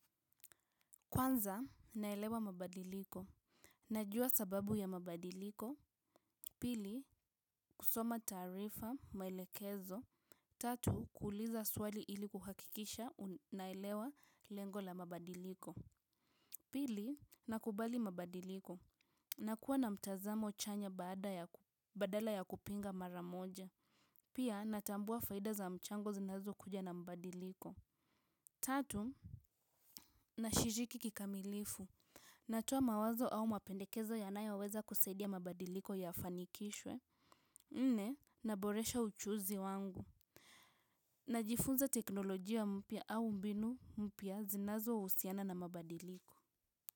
Kwanza naelewa mabadiliko najua sababu ya mabadiliko pili kusoma taarifa maelekezo tatu kuuliza swali ili kuhakikisha naelewa lengo la mabadiliko pili nakubali mabadiliko nakuwa na mtazamo chanya badala ya kupinga mara moja pia natambua faida za mchango zinazokuja na mabadiliko tatu nashiriki kikamilifu natoa mawazo au mapendekezo yanayoweza kusaidia mabadiliko yafanikishwe nne naboresha uchuuzi wangu najifunza teknolojia mpya au mbinu mpya zinazohusiana na mabadiliko.